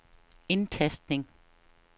indtastning